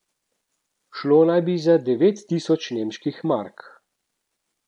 Šlo naj bi za devet tisoč nemških mark.